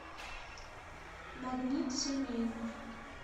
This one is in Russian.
магнит семейный